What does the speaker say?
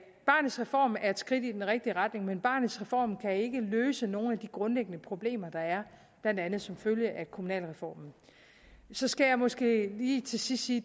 barnets reform er et skridt i den rigtige retning men barnets reform kan ikke løse nogle af de grundlæggende problemer der er blandt andet som følge af kommunalreformen så skal jeg måske lige til sidst sige